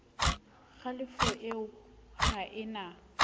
kgalefo eo ha e na